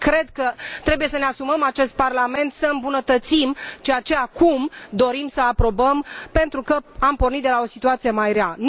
Cred că trebuie să ne asumăm, acest Parlament, să îmbunătățim ceea ce acum dorim să aprobăm, pentru că am pornit de la o situație mai rea.